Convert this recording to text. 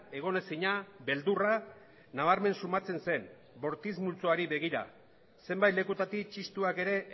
egonezina beldurra nabarmen sumatzen zen bortitz multzoari begira zenbait lekutatik txistuak ere